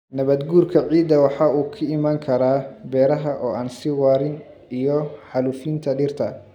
Nabaad-guurka ciidda waxa uu ku iman karaa beeraha oo aan sii waarin iyo xaalufinta dhirta.